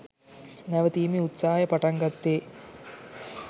නැවතීමේ උත්සාහය පටන්ගත්තෙ